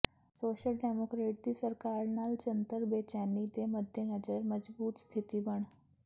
social democrat ਦੀ ਸਰਕਾਰ ਨਾਲ ਜਨਤਕ ਬੇਚੈਨੀ ਦੇ ਮੱਦੇਨਜ਼ਰ ਮਜ਼ਬੂਤ ਸਥਿਤੀ ਬਣ